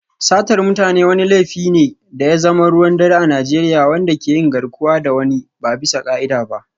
Satar mutane wani laifi ne da ya zama ruwan dare a Najeriya, wanda ke yin garkuwa da wani ba bisa ka'ida ba.